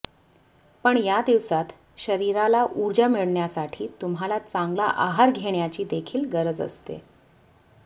पण या दिवसात शरीराला उर्जा मिळण्यासाठी तुम्हाला चांगला आहार घेण्याची देखील गरज असते